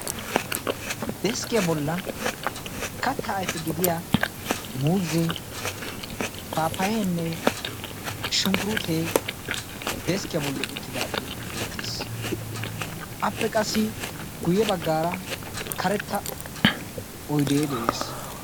Deskkiya bollan kattaa ayife gidiya muuzzee, paappayayinne shunkkuruutee deskkiya bolli uttidaagee beettees. Appe qassi guyye baggaara karetta oyidee de'ees.